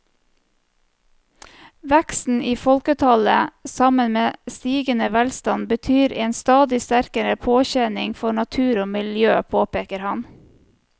Veksten i folketallet sammen med stigende velstand betyr en stadig sterkere påkjenning for natur og miljø, påpeker han.